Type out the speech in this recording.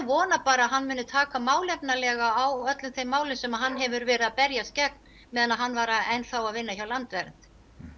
vona að hann muni taka málefnalega á öllum þeim málum sem hann hefur verið að berjast gegn meðan hann var enn að vinna hjá Landvernd